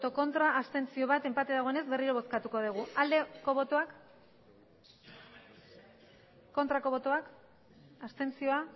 ez bat abstentzio enpate dagoenez berriro bozkatuko dugu bozka dezakegu aldeko botoak aurkako botoak abstentzioa